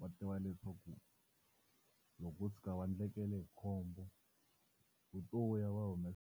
va tiva leswaku loko vo tshuka va endlekela hi khombo u to ya va humesa.